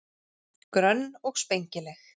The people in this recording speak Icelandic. Grönn og spengileg.